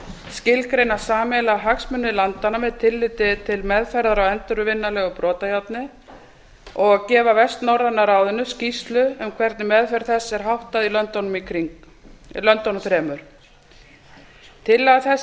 skilgreina sameiginlega hagsmuni landanna með tilliti til meðferðar á endurvinnanlegu brotajárni og gefa vestnorræna ráðinu skýrslu um hvernig meðferð þess er háttað í löndunum þremur tillaga þessi er